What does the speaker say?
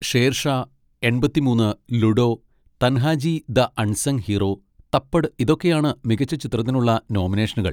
ഷേർഷാ, എൺപത്തി മൂന്ന്, Ludo, Tanhaji the unsung hero, Thappad, ഇതൊക്കെയാണ് മികച്ച ചിത്രത്തിനുള്ള നോമിനേഷനുകൾ.